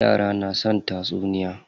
Yara na son tatsuniya.